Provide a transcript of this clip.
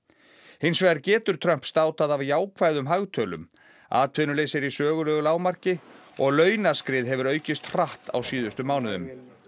hins vegar getur Trump státað af jákvæðum hagtölum atvinnuleysi er í sögulegu lágmarki og launaskrið hefur aukist hratt á síðustu mánuðum